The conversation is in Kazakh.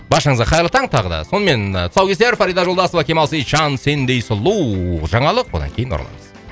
баршаңызға қайырлы таң тағы да сонымен тұсаукесер фарида жолдасова кемал сейтжан сендей сұлу жаңалық одан кейін ораламыз